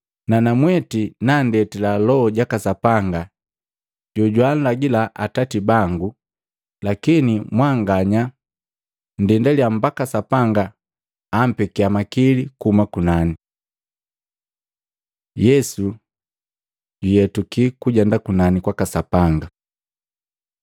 Nanamweti nandetila Loho jaka Sapanga jojwaalagila Atati bangu. Lakini mwanganya nndendaliya mbaki Sapanga ampekia makili kuhuma kunani.” Yesu juyetuki kujenda kunani kwaka Sapanga Maluko 16:19-20; Matei 1:9-11